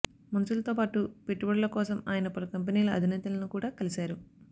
మంత్రులతోపాటు పెట్టుబడుల కోసం ఆయన పలు కంపెనీల అధినేతలను కూడా కలిశారు